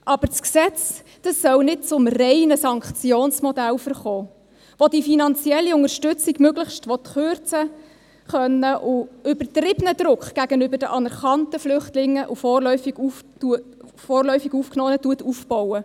Aber das Gesetz soll nicht zum reinen Sanktionsmodell verkommen, welches die finanzielle Unterstützung möglichst will kürzen können und übertriebenen Druck gegenüber den anerkannten Flüchtlingen und vorläufig Aufgenommenen aufbaut.